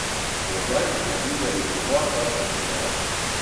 Do zdaj smo videli dva taka primera.